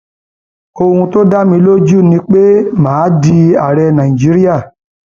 ohun tó dá mi lójú ni pé mà á di ààrẹ nàìjíríà